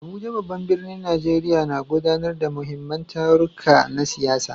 Abuja, babban birnin Najeriya, na gudanar da muhimman taruka na siyasa.